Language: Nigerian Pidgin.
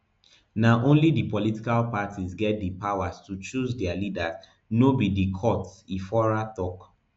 na only di political parties get di powers to choose dia leaders no be di courts ifora tok